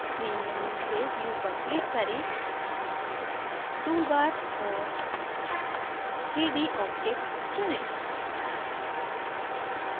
main menu से view पर click करें toolbars और 3dobjects चुनें